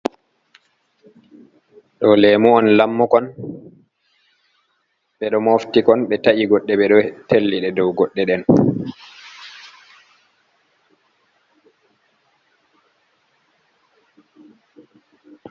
Ɗo lemu on lammukon, be ɗo moftikon be ta’i goɗɗe ɓe ɗo telliɗi dow goɗɗe deen.